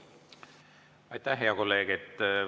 Aitäh, hea kolleeg!